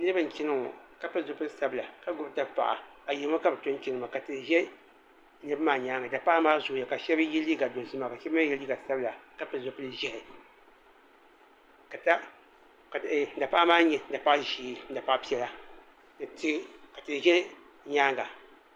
Niriba n chana ŋɔ ka pili zipili sabila ka gbubi dapaɣa ayirimo ka bi tɔ n chana maa ka tihi ʒɛ niriba maa nyaanga dapaɣa maa zooya ka shɛba yɛ liiga dozim ka shɛba mi yɛ liiga sabila ka pili zipili ʒiɛhi ka dapaɣa nyɛ dapaɣa ʒee ni dapaɣa piɛla ka tihi ʒɛ nyaanga.